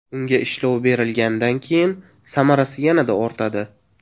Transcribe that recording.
Unga ishlov berilgandan keyin samarasi yanada ortadi.